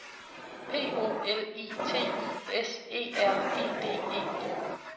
P O L I T I S E R E D E